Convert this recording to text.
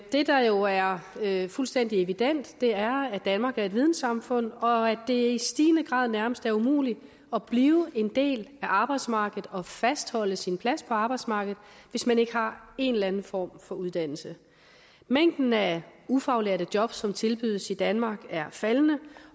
det der jo er fuldstændig evident er at danmark er et vidensamfund og at det i stigende grad nærmest er umuligt at blive en del af arbejdsmarkedet og fastholde sin plads på arbejdsmarkedet hvis man ikke har en eller anden form for uddannelse mængden af ufaglærte jobs som tilbydes i danmark er faldende